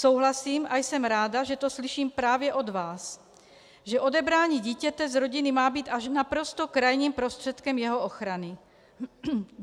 Souhlasím a jsem ráda, že to slyším právě od vás, že odebrání dítěte z rodiny má být až naprosto krajním prostředkem jeho ochrany.